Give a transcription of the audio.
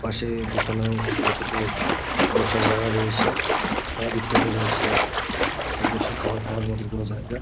পাশে দুখানা ছোটো ছোটো বসার জায়গা রয়েছে। বাদিকটা তে রয়েছে বসে খাবার খাওয়ার মতো কোনো জায়গা।